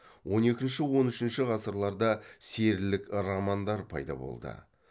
он екінші он үшінші ғасырларда серілік романдар пайда болды